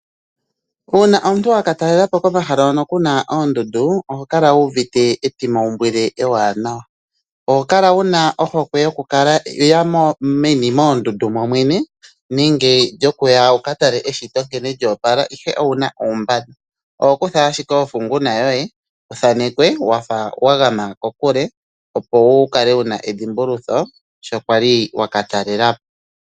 Uuna omuntu wakatalela po komahala hono ku na oondundu oho kala wu uvite etimaumbwile ewanawa. Oho kala wuna ohokwe yokuya meni moondundu momwene nenge lyokuya wukatale eshito nkene lya opala ashike owuna uumbanda oho kutha ashike ofunguna yoye wuthanekwe wafa wagama kokule opo wu kale wuna edhimbulutho sho kwali wakatalela po.